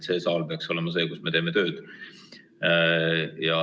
See saal peaks olema koht, kus me teeme tööd.